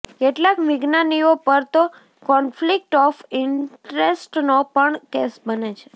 કેટલાક વિજ્ઞાનીઓ પર તો કોન્ફ્લિક્ટ ઓફ ઈન્ટરેસ્ટનો પણ કેસ બને છે